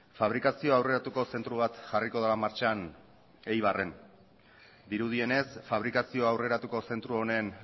fabrikazio aurreratuko zentro bat jarriko dela martxan eibarren dirudienez fabrikazio aurreratuko zentro honen